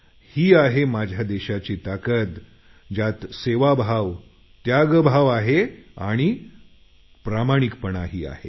ही आहे माझ्या देशाची ताकद ज्यात सेवाभाव त्यागभाव आहे आणि प्रामाणिकपणाही आहे